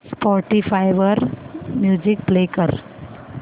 Spotify वर music play कर